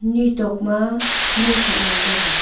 ni tok ma ngo sak ngan taiga.